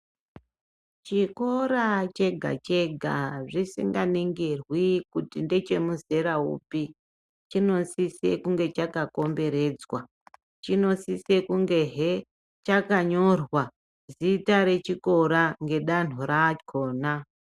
Chikora chega chega zvisingabingirwi kuti ndechemuzera upi chinosise kunge Chaka komberedzwa chinosise kunge he chakanyorwa zita reChikora ngedanho rakhona.